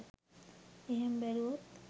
එහෙම බැලුවොත්